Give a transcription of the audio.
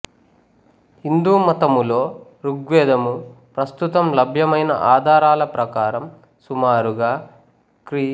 హిందూమతము లో ఋగ్వేదము ప్రస్తుతం లభ్యమైన ఆధారాల ప్రకారం సుమారుగా క్రీ